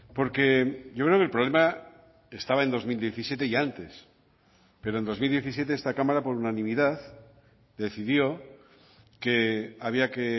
porque yo creo que el problema estaba en dos mil diecisiete y antes pero en dos mil diecisiete esta cámara por unanimidad decidió que había que